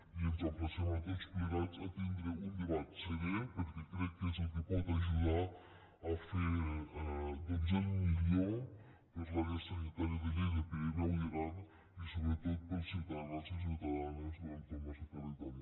i ens emplacem tots plegats a tindre un debat serè perquè crec que és el que pot ajudar a fer el millor per l’àrea sanitària de lleida pirineu i aran i sobretot pels ciutadans i ciutadanes del nostre territori